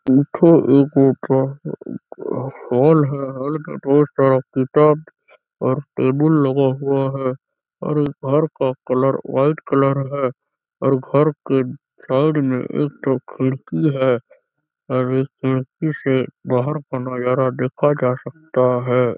Hall है hall में बहुत सारा किताब और टेबुल लगा हुआ है और घर का कलर वाइट कलर है और घर के साइड में एक ठो खिड़की है और इस खिड़की से बाहर का नज़ारा देखा जा सकता है।